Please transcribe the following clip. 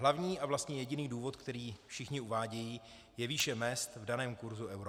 Hlavní a vlastně jediný důvod, který všichni uvádějí, je výše mezd v daném kurzu eura.